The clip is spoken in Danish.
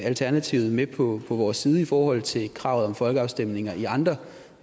alternativet med på vores side i forhold til kravet om folkeafstemninger i andre